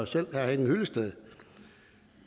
selv herre henning hyllested